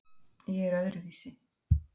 Ég er öðruvísi.